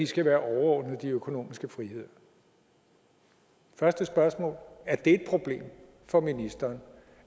skal være overordnet de økonomiske friheder første spørgsmål er det et problem for ministeren